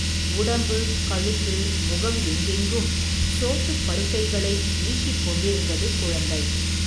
உடம்பு, கழுத்து, முகம் எங்கெங்கும், சோத்துப் பருக்கைகளை, ஈஷிக் கொண்டிருந்தது குழந்தை.